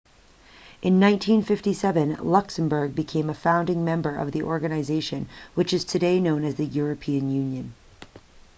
in 1957 luxembourg became a founding member of the organization which is today known as the european union